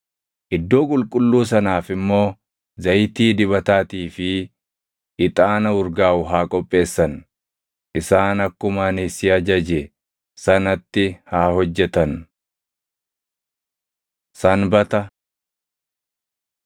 Iddoo Qulqulluu sanaaf immoo zayitii dibataatii fi ixaana urgaaʼu haa qopheessan. “Isaan akkuma ani si ajaje sanatti haa hojjetan.” Sanbata